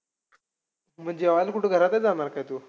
मग जेवायला कुठे घरातचं जाणार काय तू?